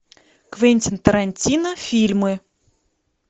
квентин тарантино фильмы